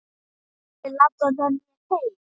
Viltu labba með mér heim!